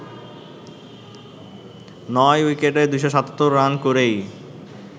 নয় উইকেটে ২৭৭ রান করেই